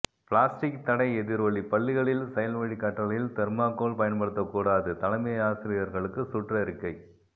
plastic தடை எதிரொலி பள்ளிகளில் செயல்வழி கற்றலில் தெர்மாகோல் பயன்படுத்தக்கூடாது தலைமை ஆசிரியர்களுக்கு சுற்றறிக்கை